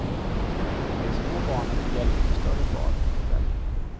De små barnen får hjälp av större barn och föräldrar.